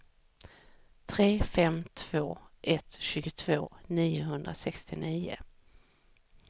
tre fem två ett tjugotvå niohundrasextionio